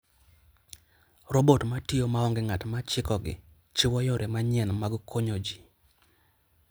Robot ma tiyo maonge ng'at ma chikogi, chiwo yore manyien mag konyo ji.